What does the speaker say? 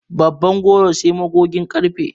Babban goro sai magugin ƙarfe.